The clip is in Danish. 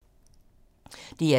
DR2